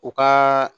U ka